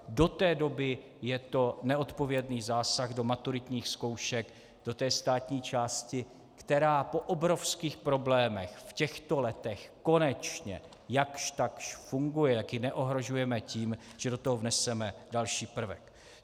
Do té doby je to neodpovědný zásah do maturitních zkoušek, do té státní části, která po obrovských problémech v těchto letech konečně jakž takž funguje, jak ji neohrožujeme tím, že do toho vneseme další prvek.